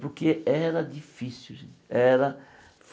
Porque era difícil gente era.